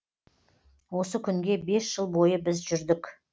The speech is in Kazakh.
осы күнге бес жыл бойы біз жүрдік